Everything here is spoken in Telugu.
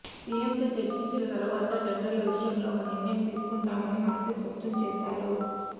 సీఎంతో చర్చించిన తరువాత టెండర్ల విషయంలో ఒక నిర్ణయం తీసుకుంటామని మంత్రి స్పష్టం చేశారు